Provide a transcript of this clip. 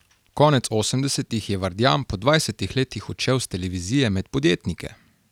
Konec osemdesetih je Vardjan po dvajsetih letih odšel s televizije med podjetnike.